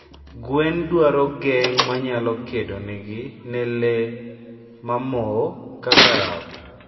gwen dwaro geng manyalo kedonegi ne lee mamoo kaka rao